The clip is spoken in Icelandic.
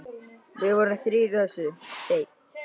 Við vorum þrír í þessu: Steinn